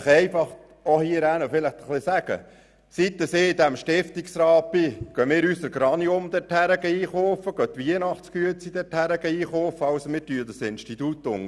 Ich möchte der linken Seite einfach Folgendes sagen: Seit ich in diesem Stiftungsrat bin, kaufen wir unsere Geranien und unsere Weihnachtsguetzli dort und unterstützen damit diese Institution.